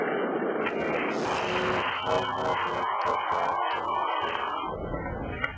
segir hávær rödd að baki þeim.